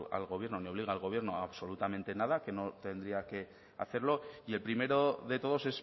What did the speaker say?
al gobierno ni obliga al gobierno absolutamente nada que no tendría que hacerlo y el primero de todos